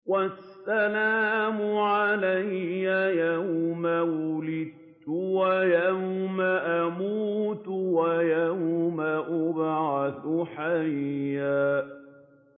وَالسَّلَامُ عَلَيَّ يَوْمَ وُلِدتُّ وَيَوْمَ أَمُوتُ وَيَوْمَ أُبْعَثُ حَيًّا